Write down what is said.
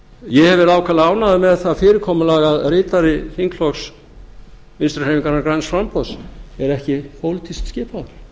ég hef verið ákaflega ánægður með það fyrirkomulag að ritari þingflokks vinstri hreyfingarinnar græns framboðs er ekki pólitískt skipaður